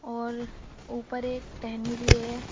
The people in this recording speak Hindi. और ऊपर एक टहनी भी है।